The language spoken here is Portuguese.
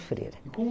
freira. E como